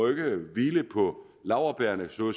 hvile på laurbærrene så